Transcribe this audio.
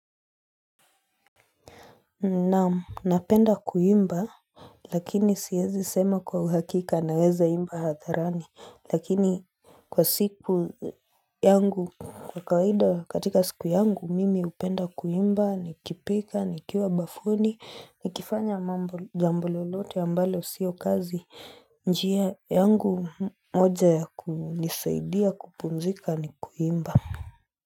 Naam, napenda kuimba lakini siwezi sema kwa uhakika naweza imba hadharani lakini kwa siku yangu kwa kawaida katika siku yangu mimi hupenda kuimba nikipika nikiwa bafuni nikifanya mambo jambo lolote ambalo siyo kazi njia yangu moja ya kunisaidia kupumzika ni kuimba.